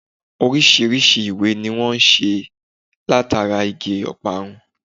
Orísirísi ìwé ni wón n se látara Igi ọparun